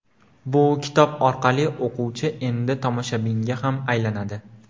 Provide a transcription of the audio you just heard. Bu kitob orqali o‘quvchi endi tomoshabinga ham aylanadi.